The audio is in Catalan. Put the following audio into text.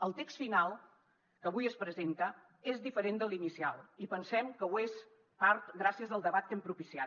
el text final que avui es presenta és diferent de l’inicial i pensem que ho és en part gràcies al debat que hem propiciat